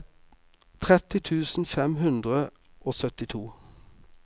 tretti tusen fem hundre og syttito